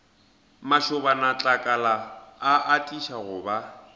mašobanatlakala a atiša go ba